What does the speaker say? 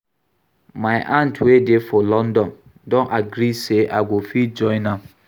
My aunt wey dey for London don agree say I go fit join am